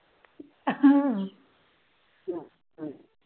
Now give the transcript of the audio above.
।